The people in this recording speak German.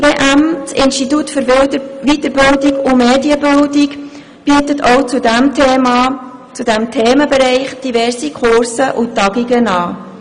Das Institut für Weiterbildung und Medienbildung (IWM) bietet auch zu diesem Themenbereich diverse Kurse und Tagungen an.